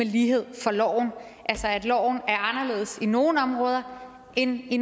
lighed for loven altså at loven er anderledes i nogle områder end i